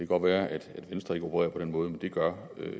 godt være at venstre ikke opererer på den måde men det gør